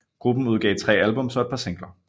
Gruppen udgav tre albums og et par singler